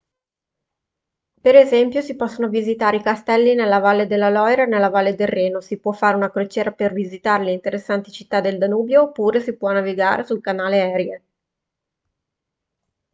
per esempio si possono visitare i castelli nella valle della loira e nella valle del reno si può fare una crociera per visitare le interessanti città del danubio oppure si può navigare sul canale erie